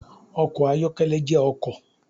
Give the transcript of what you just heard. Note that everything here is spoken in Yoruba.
Ọkọ̀ ayọ́kẹ́lẹ́ jẹ́ ọkọ̀.